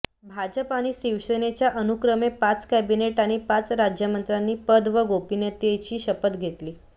भाजप आणि शिवसेनेच्या अनुक्रमे पाच कॅबिनेट आणि पाच राज्यमंत्र्यांनी पद व गोपनीयतेची शपथ घेतली